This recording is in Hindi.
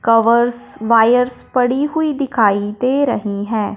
कवर्स वायर्स पड़ी हुई दिखाई दे रही हैं।